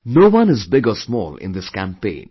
No one is big or small in this campaign